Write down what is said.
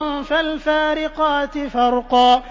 فَالْفَارِقَاتِ فَرْقًا